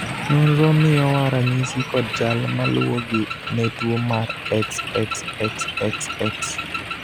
nonro miyowa ranyisi kod chal maluwogi ne tuo mar XXXXX